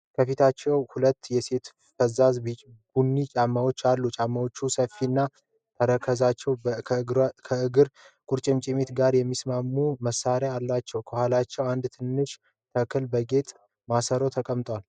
ከፊታችን ሁለት የሴቶች ፈዛዛ ቡኒ ጫማዎች አሉ። ጫማዎቹ ሰፋፊ ተረከዞችና ከእግር ቁርጭምጭሚት ጋር የሚታሰሩ ማሰሪያዎች አሏቸው። ከኋላቸው አንድ ትንሽ ተክል በጌጥ ማሰሮ ተቀምጧል።